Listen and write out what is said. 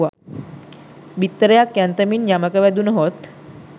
බිත්තරයක් යන්තමින් යමක වැදුණහොත්